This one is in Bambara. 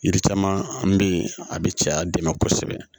Yiri caman bɛ yen a bɛ cɛya dɛmɛ kosɛbɛ